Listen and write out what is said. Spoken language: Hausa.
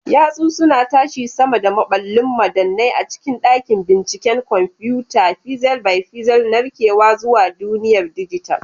Yatsu suna tashi sama da maballin madannai a cikin dakin binciken kwamfuta, pixel by pixel narkewa zuwa duniyar dijital.